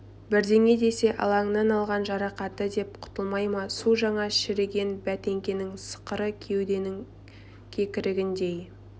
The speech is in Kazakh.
бірдеңе десе алаңнан алған жарақаты деп құтылмай ма су жаңа шегірен бәтеңкенің сықыры кеуденің кекірігіндей